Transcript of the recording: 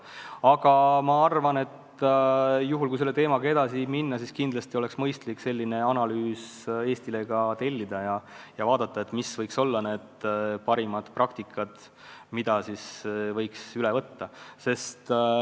Aga kui tahta selle teemaga edasi minna, siis kindlasti oleks mõistlik selline analüüs Eestile ka tellida ja analüüsida, mis võiks olla parimad praktikad, mida üle võtta.